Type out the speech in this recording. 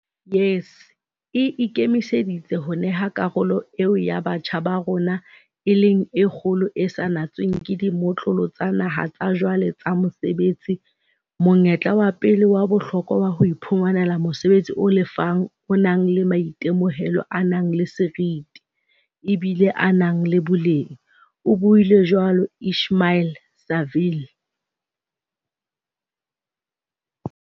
"YES e ikemiseditse ho neha karolo eo ya batjha ba rona, e leng e kgolo e sa natsweng ke dimotlolo tsa naha tsa jwale tsa mosebetsi, monyetla wa pele wa bohlokwa wa ho iphumanela mosebetsi o lefang o nang le maitemohelo a nang le seriti, ebile a na le boleng," o buile jwalo Ismail-Saville.